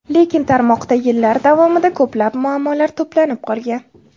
Lekin tarmoqda yillar davomida ko‘plab muammolar to‘planib qolgan.